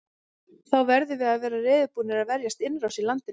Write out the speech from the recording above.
Þá verðum við að vera reiðubúnir að verjast innrás í landið.